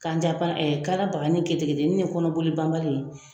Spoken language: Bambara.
Kanja bana kana bagani kete keteni ni kɔnɔboli banbali.